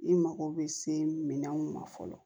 I mago bɛ se minan mun ma fɔlɔ